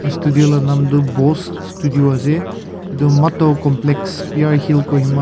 aru studio la nam toh bose studio ase etu mato complex PR hill kohima .